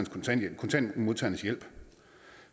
kontanthjælpsmodtagernes hjælp